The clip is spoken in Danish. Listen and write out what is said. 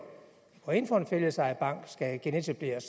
går ind for at en fællesejet bank skal genetableres